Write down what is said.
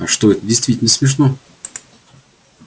а что это действительно смешно